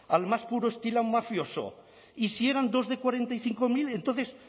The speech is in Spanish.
al más puro estilo mafioso y si eran dos de cuarenta y cinco mil entonces